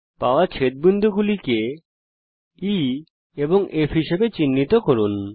পাওয়া ছেদবিন্দুগুলিকে E এবং F হিসেবে ক্লিক করুন